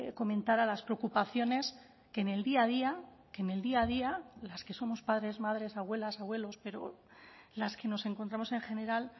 comentara las preocupaciones que en el día a día que en el día a día las que somos padres madres abuelas abuelos pero las que nos encontramos en general